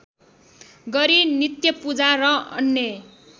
गरी नित्यपूजा र अन्य